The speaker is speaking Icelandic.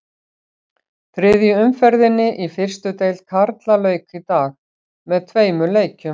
Þriðju umferðinni í fyrstu deild karla lauk í dag með tveimur leikjum.